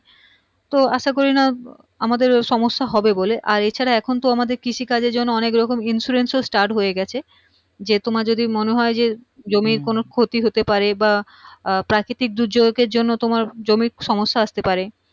আমাদের সম্যসা হবে বলে আর এ ছাড়া এখুন তো আমাদের কৃষি কাজের জন্যে অনেক রকম insurance ও start হয় গিয়েছে যে তোমার যদি মনে হয় যে জমির কোনো ক্ষতি হতে পারে বা আহ প্রাকৃতিক দুর্যোগের জন্য তোমার জমির সম্যসা আসতে পারে